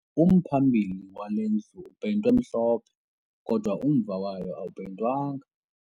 Umphambili wale ndlu upeyintwe mhlophe kodwa umva wayo awupeyintwanga